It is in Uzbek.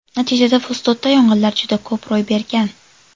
Natijada Fustotda yong‘inlar juda ko‘p ro‘y bergan.